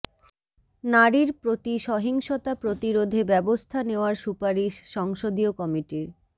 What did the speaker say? নারীর প্রতি সহিংসতা প্রতিরোধে ব্যবস্থা নেওয়ার সুপারিশ সংসদীয় কমিটির